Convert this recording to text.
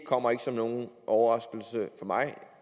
kommer ikke som nogen overraskelse for mig